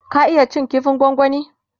ka iya cin kifin gwangwani?